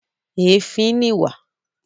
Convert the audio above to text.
Èéfín ni ìwà.